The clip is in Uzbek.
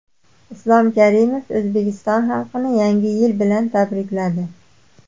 Islom Karimov O‘zbekiston xalqini Yangi yil bilan tabrikladi.